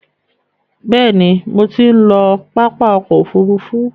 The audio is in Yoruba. Bẹ̀ẹ̀ni, mo ti ń lọ pápá ọkò òfurufú.